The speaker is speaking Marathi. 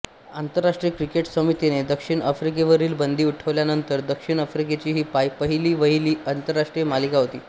आंतरराष्ट्रीय क्रिकेट समितीने दक्षिण आफ्रिकेवरील बंदी उठवल्यानंतर दक्षिण आफ्रिकेची ही पहिली वहिली आंतरराष्ट्रीय मालिका होती